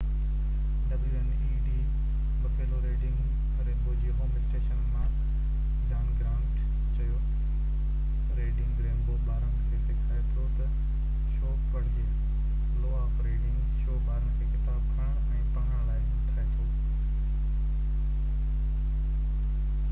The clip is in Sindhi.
wned بفيلو ريڊنگ رينبو جي هوم اسٽيشن مان جان گرانٽ چيو ريڊنگ رينبو ٻارن کي سکائي ٿو تہ ڇو پڙهجي،... لو آف ريڊنگ — شو ٻارن کي ڪتاب کڻڻ ۽ پڙهڻ لاءِ همٿائي ٿو.